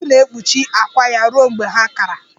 Nnekwu na-ekpuchi akwà ya ruo mgbe ha kara.